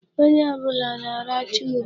Onye ọbụla na-aracha ube.